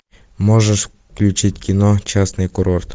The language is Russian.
можешь включить кино частный курорт